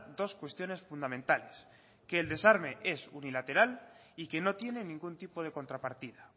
dos cuestiones fundamentales que el desarme es unilateral y que no tiene ningún tipo de contrapartida